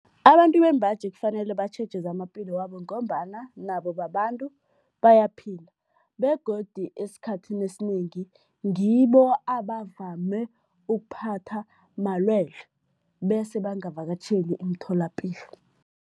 Abantu bembaji kufanele batjheje zamaphilo wabo ngombana nabo babantu bayaphila begodu esikhathini esinengi ngibo abavame ukuphatha malwelwe bese bangavakatjheli imitholapilo.